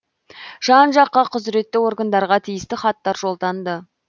жан жаққа құзіретті органдарға тиісті хаттар жолданды